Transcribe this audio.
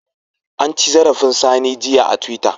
An ci zarafin Sani jiya a twitter.